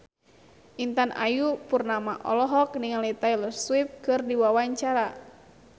Intan Ayu Purnama olohok ningali Taylor Swift keur diwawancara